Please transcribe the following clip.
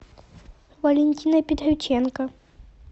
валентина петроченко